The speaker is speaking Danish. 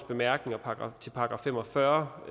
bemærkninger til § fem og fyrre